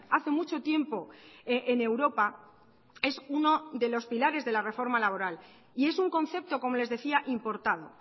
hace mucho tiempo en europa es uno de los pilares de la reforma laboral y es un concepto como les decía importado